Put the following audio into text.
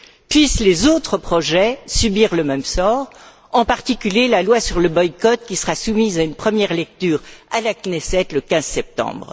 Puissent les autres projets subir le même sort, en particulier la loi sur le boycott, qui sera soumise à une première lecture à la Knesset le 15 septembre.